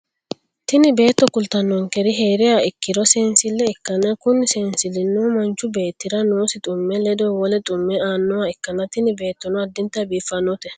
tini beetto kultannonkeri hee'riha ikkiro seensille ikkanna, kuni seensillino manchu beetti'ra noosi xumme lede wole xumme aannoha ikkanna, tini beettono addintanni biiffannote,